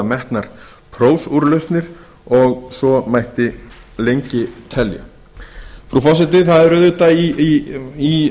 metnar prófúrlausnir og svo mætti lengi telja frú forseti það er auðvitað í